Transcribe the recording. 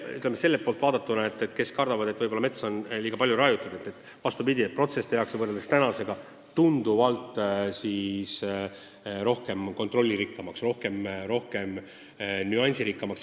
Nende poolt vaadatuna, kes kardavad, et võib-olla metsa raiutakse liiga palju, tehakse protsess võrreldes praegusega tunduvalt kontrolli- ja nüansirikkamaks.